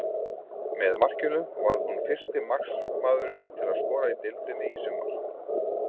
Með markinu varð hún fyrsti markmaðurinn til að skora í deildinni í sumar.